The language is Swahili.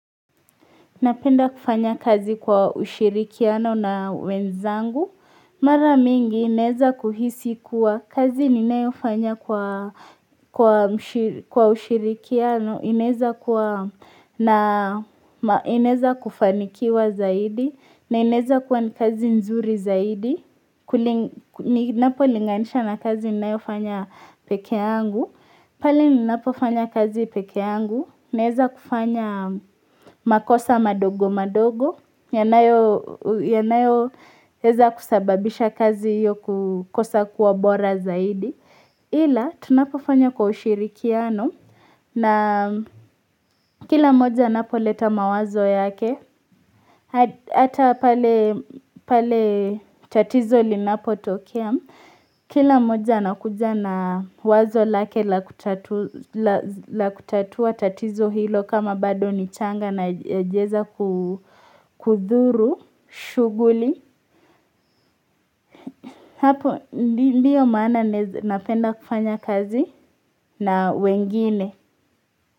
Napenda kufanya kazi kwa ushirikiano na wenzangu. Mara mingi naweza kuhisi kuwa kazi ninayofanya kwa ushirikiano imeweza kuwa inaweza kufanikiwa zaidi. Na inaweza kuwa ni kazi nzuri zaidi. Ninapolinganisha na kazi ninayofanya pekee yangu. Pale ninapofanya kazi pekee yangu. Naweza kufanya makosa madogo madogo yanayoweza kusababisha kazi hiyo kukosa kuwa bora zaidi ila tunapofanya kwa ushirikiano na kila moja anapoleta mawazo yake hata pale tatizo linapotokea kila mmoja anakuja na wazo lake la kutatua tatizo hilo kama bado ni changa na haijaweza kudhuru shughuli Hapo ndiyo maana napenda kufanya kazi na wengine.